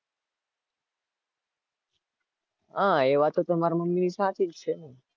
હાં એ વાત તો તમારા મમ્મીની સાચી જ છે ને